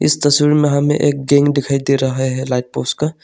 इस तस्वीर में हमें एक दिखाई दे रहा है लाइट पोस्ट का।